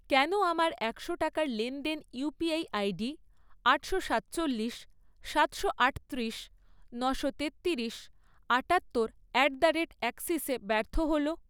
কেন আমার একশো টাকার লেনদেন ইউপিআই আইডি আটশো সাতচল্লিশ, সাতশো আটত্রিশ, নশো তেত্তিরিশ, আটাত্তর অ্যাট দ্য রেট অ্যাক্সিসে ব্যর্থ হল?